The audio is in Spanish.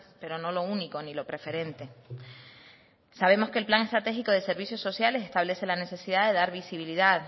pero no lo único ni lo preferente sabemos que el plan estratégico de servicios sociales establece la necesidad de dar visibilidad